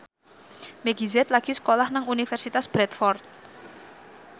Meggie Z lagi sekolah nang Universitas Bradford